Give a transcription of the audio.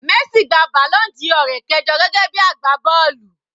Messi gba balloon Dior rẹ̀ kẹjọ gẹ́gẹ́ bí agbá bọ́ọ̀lù.